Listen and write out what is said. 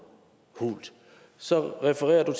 hult så refererer